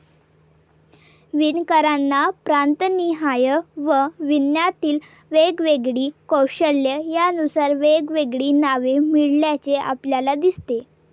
विणकरांना प्रांतनिहाय व विणण्यातील वेगवेगळी कौशल्ये यानुसार वेगवेगळी नावे मिळाल्याचे आपल्याला दिसते.